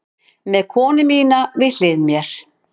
Með konu mína við hlið mér.